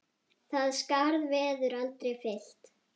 Það skarð verður aldrei fyllt.